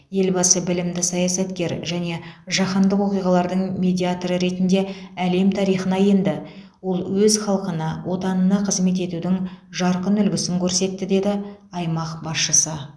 елбасы білімді саясаткер және жаһандық оқиғалардың медиаторы ретінде әлем тарихына енді ол өз халқына отанына қызмет етудің жарқын үлгісін көрсетті деді аймақ басшысы